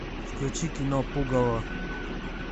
включи кино пугало